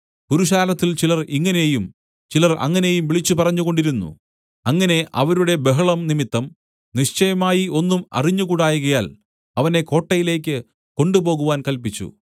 പുരുഷാരത്തിൽ ചിലർ ഇങ്ങനെയും ചിലർ അങ്ങനെയും വിളിച്ചുപറഞ്ഞുകൊണ്ടിരുന്നു അങ്ങനെ അവരുടെ ബഹളം നിമിത്തം നിശ്ചയമായി ഒന്നും അറിഞ്ഞുകൂടായ്കയാൽ അവനെ കോട്ടയിലേക്ക് കൊണ്ടുപോകുവാൻ കല്പിച്ചു